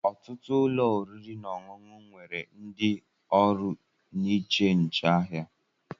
ọtụtụ ụlọ oriri na ọṅụṅụ nwere ndị oru n'eche nche ahia